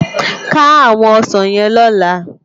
Ká áwòn òsán yèn lòlá